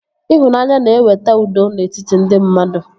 Ịhụnanya na-eweta udo n'etiti ndị mmadụ